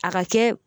A ka kɛ